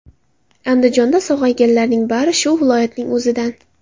Andijonda sog‘ayganlarning bari shu viloyatning o‘zidan.